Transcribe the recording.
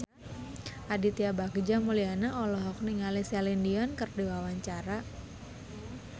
Aditya Bagja Mulyana olohok ningali Celine Dion keur diwawancara